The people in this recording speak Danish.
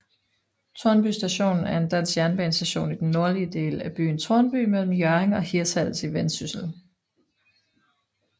Tornby Station er en dansk jernbanestation i den nordlige del af byen Tornby mellem Hjørring og Hirtshals i Vendsyssel